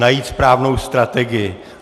Najít správnou strategii.